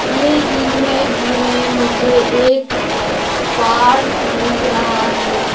ये इमेज में मुझे एक पार्क दिख रहा है।